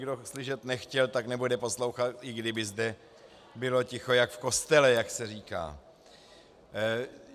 Kdo slyšet nechtěl, tak nebude poslouchat, i kdyby zde bylo ticho jako v kostele, jak se říká.